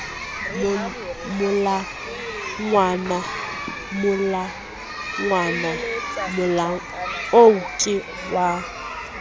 molangwana molangwana oo ke wa